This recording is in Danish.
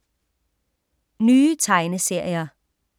Nye tegneserier